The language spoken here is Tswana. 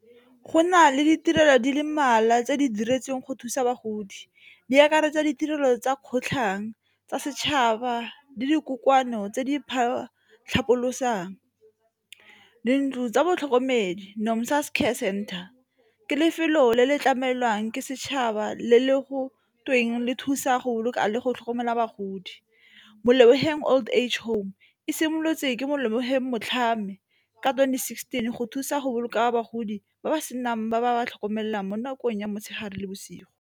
Go na le ditirelo di le mmalwa tse di diretsweng go thusa bagodi di akaretsa ditirelo tsa kgotlhang, tsa setšhaba le dikopano tse di . Dintlo tsa botlhokomedi, Nomsa's Care Centre, ke lefelo le le tlamelwang ke setšhaba le le go tsweng le thusa go boloka le go tlhokomela bagodi. Molebogeng Old Age Home e simolotse ke Molebogeng Motlhami ka twenty sixteen go thusa go boloka bagodi ba ba senang ba ba ba tlhokomelang mo nakong ya motshegare le bosigo.